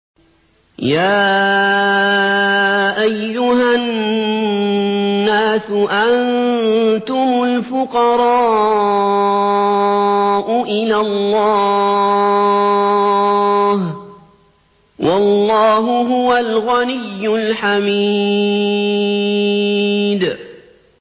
۞ يَا أَيُّهَا النَّاسُ أَنتُمُ الْفُقَرَاءُ إِلَى اللَّهِ ۖ وَاللَّهُ هُوَ الْغَنِيُّ الْحَمِيدُ